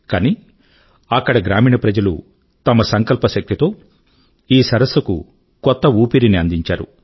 కానీ అక్కడి గ్రామీణ ప్రజలు తమ సంకల్పశక్తి తో ఈ సరస్సు కు కొత్త ఊపిరి ని అందించారు